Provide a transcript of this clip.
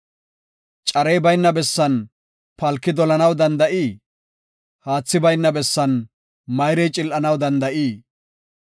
Carey bayna bessan palki dolanaw danda7ii? haathi bayna bessan mayrey cil7anaw danda7ii?